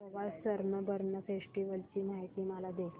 Goa Sunburn festival ची माहिती मला दे